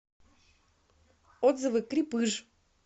отзывы крепыж